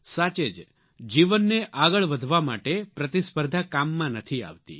સાચે જ જીવનને આગળ વધવા માટે પ્રતિસ્પર્ધા કામમાં નથી આવતી